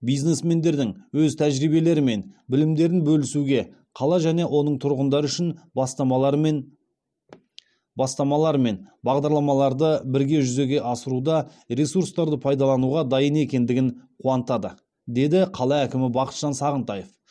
бизнесмендердің өз тәжірибелері мен білімдерін бөлісуге қала және оның тұрғындары үшін бастамалар мен бастамалар мен бағдарламаларды бірге жүзеге асыруда ресурстарды пайдалануға дайын екендігі қуантады деді қала әкімі бақытжан сағынтаев